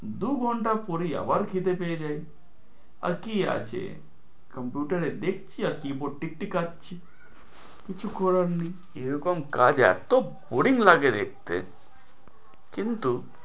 দু ঘন্টা পরেই আবার খিদে পেয়ে যায় আর কি আছে computer এ দেখছি আর keyboard টিকটিকাচ্ছি, কিছু করার নেই, এরকম কাজ এতো boaring লাগে দেখতে কিন্তু